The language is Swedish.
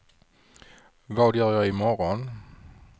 vad gör jag imorgon